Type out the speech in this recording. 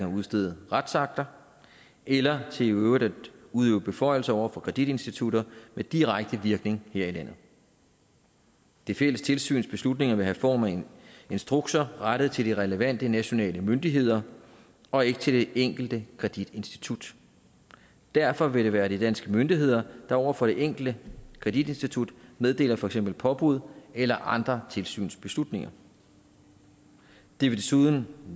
udstede retsakter eller til i øvrigt at udøve beføjelser over for kreditinstitutter med direkte virkning her i landet det fælles tilsyns beslutninger vil have form af instrukser rettet til de relevante nationale myndigheder og ikke til det enkelte kreditinstitut derfor vil det være de danske myndigheder der over for det enkelte kreditinstitut meddeler for eksempel påbud eller andre tilsynsbeslutninger det vil desuden